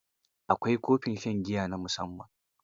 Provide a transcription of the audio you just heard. Akwai kofin shan giya na musamman.